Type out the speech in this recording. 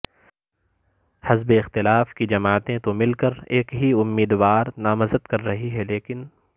حزب اختلاف کی جماعتیں تو مل کر ایک ہی امیدوار نامزد کر رہی ہیں لیکن